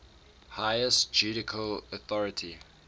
highest judicial authority